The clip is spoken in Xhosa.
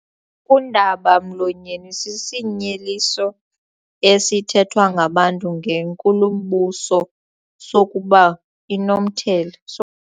Undaba-mlonyeni sisinyeliso esithethwa ngabantu ngenkulumbuso sokuba inomthele so.